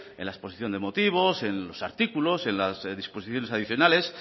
en la exposición de motivos en los artículos en las disposiciones adicionales